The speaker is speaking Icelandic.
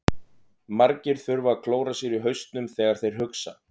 Margir þurfa að klóra sér í hausnum þegar þeir hugsa.